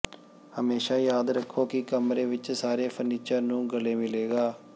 ਹਮੇਸ਼ਾਂ ਯਾਦ ਰੱਖੋ ਕਿ ਕਮਰੇ ਵਿੱਚ ਸਾਰੇ ਫਰਨੀਚਰ ਨੂੰ ਗਲੇ ਮਿਲੇਗਾ